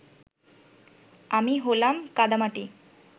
আমি হলাম কাদামাটি।